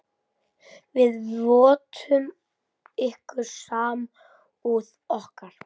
Við vottum ykkur samúð okkar.